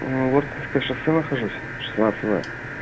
воткинское шоссе нахожусь шестнадцать в